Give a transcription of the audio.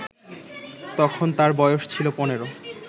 তখন তার বয়স ছিল ১৫